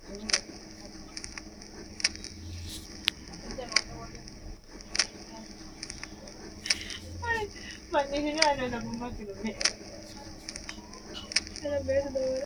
Ayyannu dayiro jilu heeriro qaaqqulu ilamisha ayirrinsanni woyte hattono babbaxxitino minu maasso heedhano woyte duucha yanna togo biifinsanni baseni adhine abbi'ne biifisinanni.